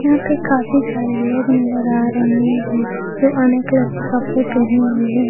यहां पे काफी सारे लोग नजर आ रहे हैं जो अनेक कलर के कपड़े पहने हुए है।